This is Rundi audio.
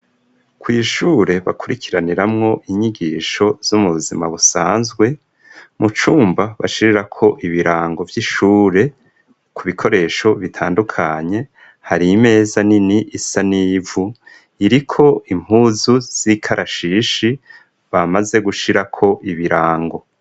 Kw'ishure bakurikiraniramwo inyigisho z'umuzima busanzwe mu cumba bashirira ko ibirango by'ishure ku bikoresho bitandukanye hari imeza nini isanivu iriko impuzu z'ikarashishi bamaze gushira ko ibirango.